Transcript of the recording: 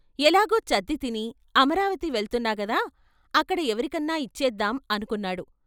ఎలాగూ చద్ది తిని అమరావతి వెళ్తున్నాగదా అక్కడ ఎవరికన్నా ఇచ్చేద్దాం అనుకున్నాడు.